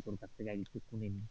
তোর কাছে থেকে কিছু শুনে নি,